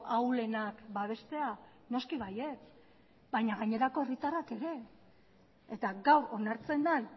ahulenak babestea noski baietz baina gainerako herritarrak ere eta gaur onartzen den